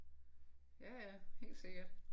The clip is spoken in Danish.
Ja ja helt sikkert